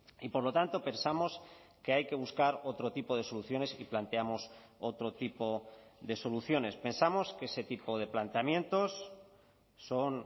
y por lo tanto pensamos que hay que buscar otro tipo de soluciones y planteamos otro tipo de soluciones pensamos que ese tipo de planteamientos son